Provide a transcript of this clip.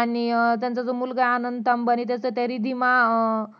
आणि त्यांचा जो मुलगा ये जो अनंत अंबानी त्याच ते रिधिमा अं